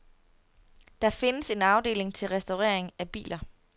Der findes en afdeling til restaurering af biler.